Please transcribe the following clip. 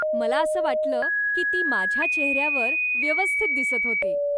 मला असं वाटलं की ती माझ्या चेहऱ्यावर व्यवस्थित दिसत होती.